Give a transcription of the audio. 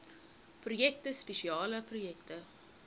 projekte spesiale projekte